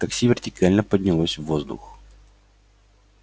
такси вертикально поднялось в воздух